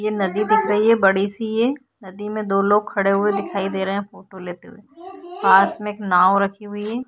ये नदी दिख रही है बड़ी सी ये नदी मैं दो लोग खड़े हुए दिखाई दे रहे है फोटो लेते हुए पास मैं एक नाव रखी हुई है ।